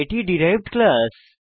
এটি derived class